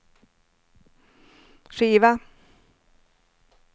skiva